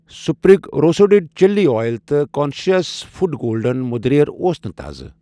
sprig roasted chili oil تہٕ conscious food golden مٔدریر اوس نہٕ تازٕ